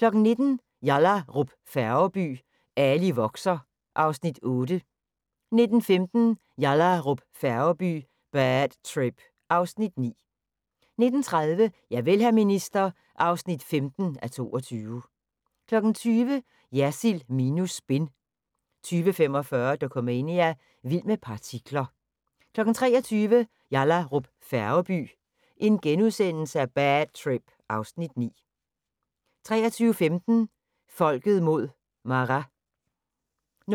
19:00: Yallahrup Færgeby: Ali vokser (Afs. 8) 19:15: Yallahrup Færgeby: Bad trip (Afs. 9) 19:30: Javel, hr. minister (15:22) 20:00: Jersild minus spin 20:45: Dokumania: Vild med partikler 23:00: Yallahrup Færgeby: Bad trip (Afs. 9)* 23:15: Folket mod Maras 00:10: